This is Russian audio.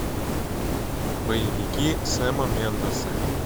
боевики сэма мендеса